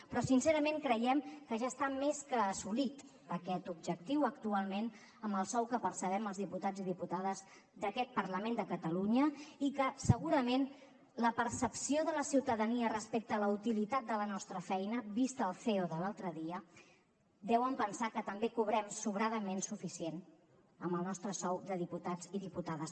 però sincerament creiem que ja està més que assolit aquest objectiu actualment amb el sou que percebem els diputats i diputades d’aquest parlament de catalunya i que segurament la percepció de la ciutadania respecte a la utilitat de la nostra feina vist el ceo de l’altre dia deuen pensar que també cobrem sobradament suficient amb el nostre sou de diputats i diputades